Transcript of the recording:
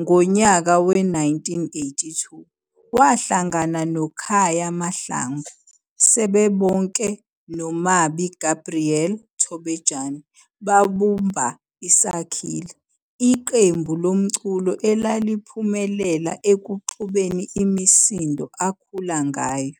Ngonyaka we-1982 wahlangana no Khaya Mahlangu, sebebonke no Mabi Gabriel Thobejane babumba iSakhile, iqembu lomculo elaphumelela ekuxubeni imisindo akhula ngayo.